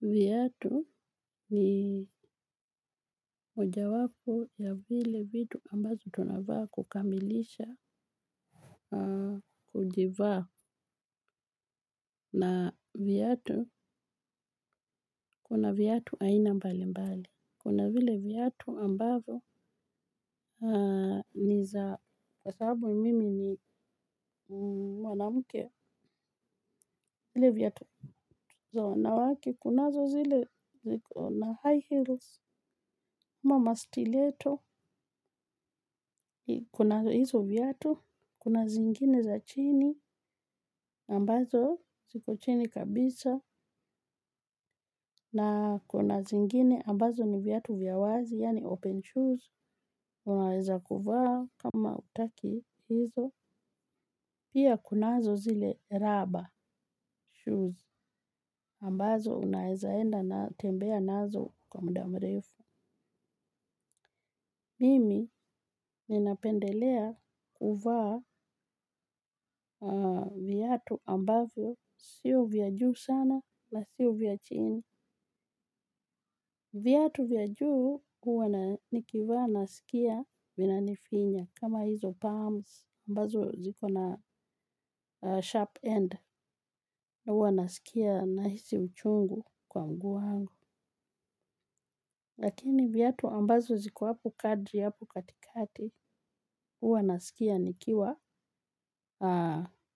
Viatu ni moja wapo ya vile vitu ambazo tunavaa kukamilisha kujivaa na viatu kuna viatu aina mbali mbali. Kuna vile viatu ambazo ni za kwa sababu mimi ni mwanamke vile viatu za na wamawake kunazo zile ziko na high heels ama mastilieto. Kuna hizo viatu kuna zingine za chini ambazo siko chini kabisa na kuna zingine ambazo ni viatu vyawazi yani open shoes unaweza kuvaa kama utaki hizo pia kunazo zile rubber shoes ambazo unaweza enda na tembea nazo kwa mudamrefu. Mimi ninapendelea kuvaa viatu ambavyo siyo vya juu sana na siyo vya chini. Viatu vya juu uwa nikivaa nasikia vinanifinya kama hizo palms ambazo zikona sharp end na uwa nasikia nahisi uchungu kwa mguu wangu. Lakini viatu ambazo zikuwa hapo kadri hapo katikati uwa nasikia nikiwa